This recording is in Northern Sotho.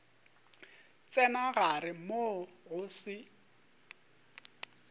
tsena gare moo go se